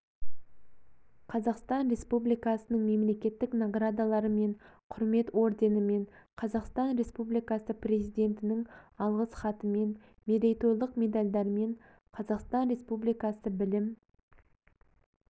қазақстан республикасының мемлекеттік наградаларымен кұрмет орденімен қазақстан республикасы президентінің алғыс хатымен мерейтойлық медальдармен қазақстан республикасы білім